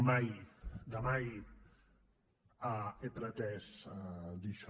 mai de mai he pretès dir això